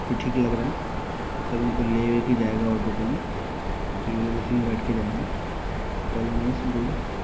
ठीक लग रहा है मतलब उनको लेके जाएगा ऑटो ुटो में तो ये लोग उसी में बैठ कर जाएंगे । Very nice good.